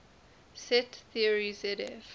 set theory zf